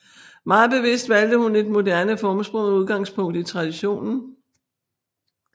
Meget bevidst valgte hun et moderne formsprog med udgangspunkt i traditionen